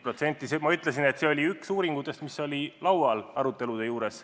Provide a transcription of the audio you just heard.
Ma ütlesin, et see KPMG oma oli üks uuringutest, mis olid aruteludel laual.